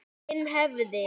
Hinn hefði